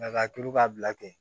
Nka k'a turu k'a bila ten